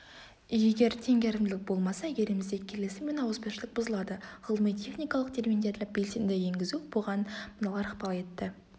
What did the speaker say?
егер теңгерімділік болмаса елімізде келісім мен ауызбіршілік бұзылады ғылыми-техникалық терминдерді белсенді енгізу бұған мыналар ықпал етті